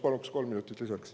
Palun kolm minutit lisaks.